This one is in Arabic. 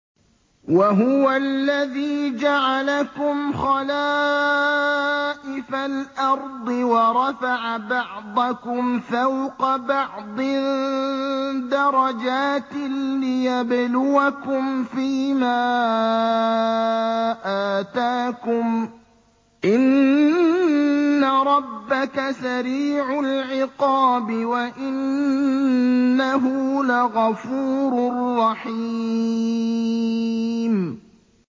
وَهُوَ الَّذِي جَعَلَكُمْ خَلَائِفَ الْأَرْضِ وَرَفَعَ بَعْضَكُمْ فَوْقَ بَعْضٍ دَرَجَاتٍ لِّيَبْلُوَكُمْ فِي مَا آتَاكُمْ ۗ إِنَّ رَبَّكَ سَرِيعُ الْعِقَابِ وَإِنَّهُ لَغَفُورٌ رَّحِيمٌ